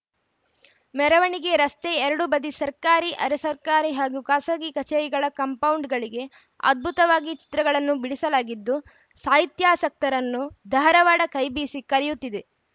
ಮೆರವಣಿಗೆ ರಸ್ತೆ ಎರಡೂ ಬದಿ ಸರ್ಕಾರಿ ಅರೆ ಸರ್ಕಾರಿ ಹಾಗೂ ಖಾಸಗಿ ಕಚೇರಿಗಳ ಕಾಂಪೌಂಡ್‌ಗಳಿಗೆ ಅದ್ಭುತವಾಗಿ ಚಿತ್ರಗಳನ್ನು ಬಿಡಿಸಲಾಗಿದ್ದು ಸಾಹಿತ್ಯಾಸಕ್ತರನ್ನು ಧಾರವಾಡ ಕೈ ಬೀಸಿ ಕರೆಯುತ್ತಿದೆ